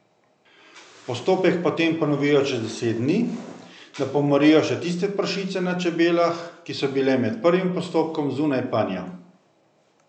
Postopek potem ponovijo čez deset dni, da pomorijo še tiste pršice na čebelah, ki so bile med prvim postopkom zunaj panja.